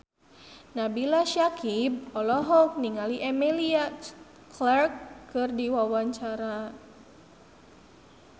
Nabila Syakieb olohok ningali Emilia Clarke keur diwawancara